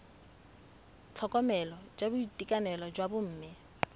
tlhokomelo ya boitekanelo jwa bomme